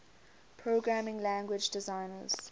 programming language designers